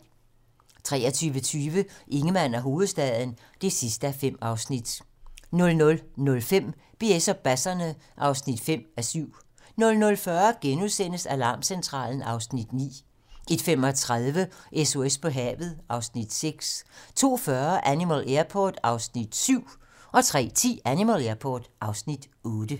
23:20: Ingemann og hovedstaden (5:5) 00:05: BS og basserne (5:7) 00:40: Alarmcentralen (Afs. 9)* 01:35: SOS på havet (Afs. 6) 02:40: Animal Airport (Afs. 7) 03:10: Animal Airport (Afs. 8)